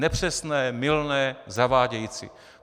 Nepřesné, mylné, zavádějící.